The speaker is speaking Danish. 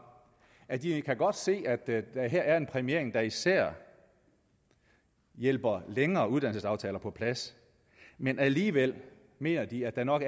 at de godt kan se at der her er en præmiering der især hjælper længere uddannelsesaftaler på plads men alligevel mener de at der nok